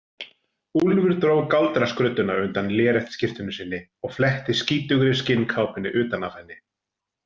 Úlfur dró galdraskrudduna undan léreftsskyrtunni sinni og fletti skítugri skinnkápunni utan af henni.